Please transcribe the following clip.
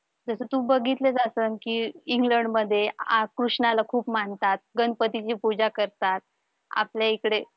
जस तू बघितलं असल की इंग्लंडमध्ये आह कृष्णाला खूप मानतात गणपतीची पूजा करतात आपल्या इकडे